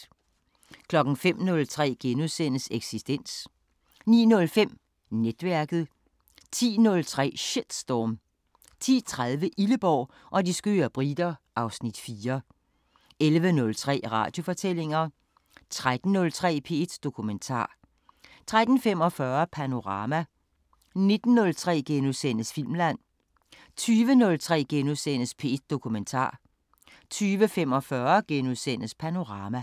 05:03: Eksistens * 09:05: Netværket 10:03: Shitstorm 10:30: Illeborg og de skøre briter (Afs. 4) 11:03: Radiofortællinger 13:03: P1 Dokumentar 13:45: Panorama 19:03: Filmland * 20:03: P1 Dokumentar * 20:45: Panorama *